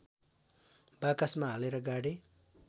बाकसमा हालेर गाडे